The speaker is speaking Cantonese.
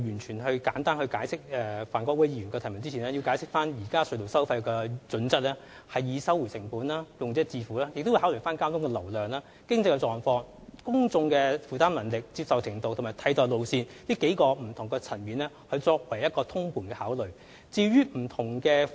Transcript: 在我簡單答覆范國威議員的補充質詢之前，我想首先解釋，現時隧道收費的原則是"收回成本"及"用者自付"，當局並會根據交通流量、經濟狀況、公眾負擔能力、接受程度及替代路線，從多個不同層面通盤考慮隧道收費。